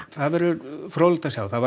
það verður fróðlegt að sjá það var